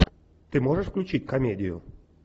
ты можешь включить комедию